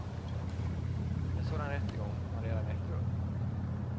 En sådan rättegång har redan ägt rum.